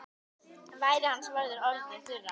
Varir hans voru orðnar þurrar.